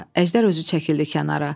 Əjdər özü çəkildi kənara.